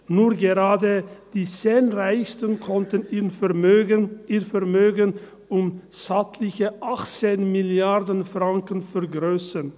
– Nur gerade die 10 Reichsten konnten ihr Vermögen um stattliche 18 Mrd. Franken vergrössern.